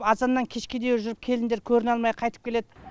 азаннан кешке дейін жүріп келіндер көріне алмай қайтып келеді